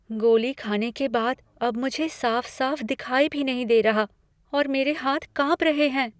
गोली खाने के बाद अब मुझे साफ साफ दिखाई भी नहीं दे रहा और मेरे हाथ कांप रहे हैं।